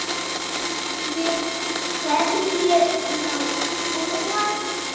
Við hverju má búast?